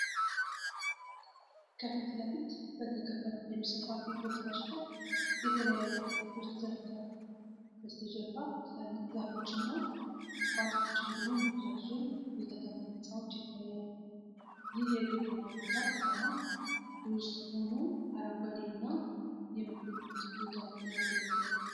ከፊት ለፊት በተከፋፈሉ ሰፋፊ ቦታዎች ላይ የተለያዩ አትክልቶች ተዘርተዋል። በስተጀርባ ትላልቅ ዛፎች እና ቁጥቋጦዎች እንዲሁም ረዣዥም የከተማ ህንፃዎች ይታያሉ። ይህ የግብርና ቦታ ከተማ ውስጥ ሆኖ አረንጓዴ እና የምግብ ምርት ቦታ ሆኖ ያገለግላል።